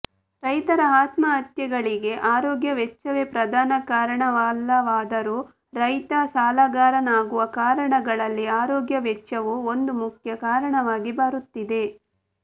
ರೈತರ ಆತ್ಮಹತ್ಯೆಗಳಿಗೆ ಆರೋಗ್ಯ ವೆಚ್ಚವೇ ಪ್ರಧಾನ ಕಾರಣವಲ್ಲವಾದರೂ ರೈತ ಸಾಲಗಾರನಾಗುವ ಕಾರಣಗಳಲ್ಲಿ ಆರೋಗ್ಯ ವೆಚ್ಚವೂ ಒಂದು ಮುಖ್ಯ ಕಾರಣವಾಗಿ ಬರುತ್ತಿದೆ